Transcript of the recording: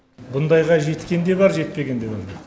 бұндайға жеткен де бар жетпегенде бар